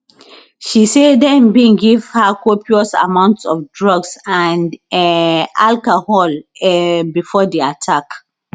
she say dem bin give her copious amounts of drugs and um alcohol um before di attack